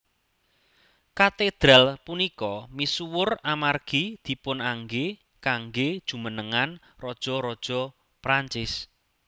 Katedral punika misuwur amargi dipunanggé kanggé jumenengan raja raja Prancis